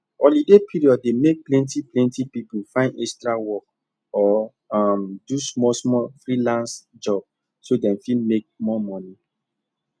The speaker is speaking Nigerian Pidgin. holiday period dey make plenty plenty people find extra work or um do smallsmall freelance job so dem fit make more money